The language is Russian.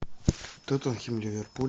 тоттенхэм ливерпуль